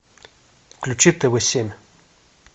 включи тв семь